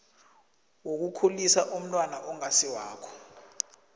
wokukhulisa umntwana ongasiwakho